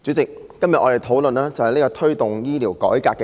主席，我們今天討論題為"推動醫療改革"的議案。